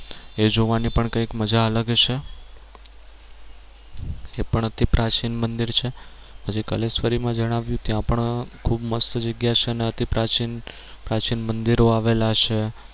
એ જોવાની પણ કઈક મજા અલગ હશે એ પણ અતિ પ્રાચીન મંદિર છે પછી કલેશ્વરી માં જણાવ્યું ત્યાં પણ ખૂબ મસ્ત જગ્યા છે ને અતિ પ્રાચીન પ્રાચીન મંદિરો આવેલા છે